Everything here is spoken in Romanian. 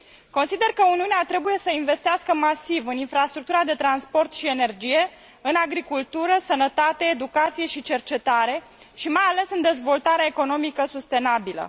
Consider că Uniunea trebuie să investească masiv în infrastructura de transport și energie, în agricultură, sănătate, educație și cercetare și, mai ales, în dezvoltarea economică sustenabilă.